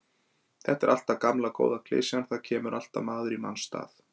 Þetta er alltaf gamla góða klisjan, það kemur alltaf maður í manns stað.